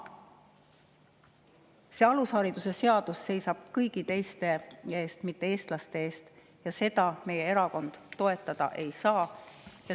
See alusharidusseadus seisab kõigi teiste eest, mitte eestlaste eest, ja seda meie erakond toetada ei saa.